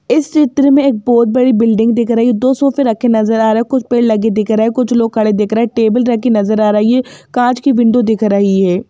इस चित्र में एक बहुत बड़ी बिल्डिंग दिख रही हैं दो सोफ़े रखे नज़र आ रहे हैं कुछ पेड़ लगे दिख रहे हैं कुछ लोग खड़े दिख रहे हैं टेबल रखी नज़र आ रही हैं कांच की विंडो दिख रही हैं।